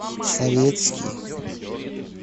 советский